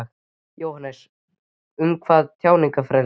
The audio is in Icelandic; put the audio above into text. Jóhannes: Hvað um tjáningarfrelsi?